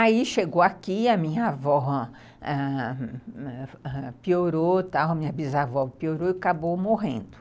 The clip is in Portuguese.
Aí chegou aqui, a minha avó piorou, ãh... ãh... a minha bisavó piorou e acabou morrendo.